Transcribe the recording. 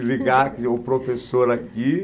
desligar que o professor aqui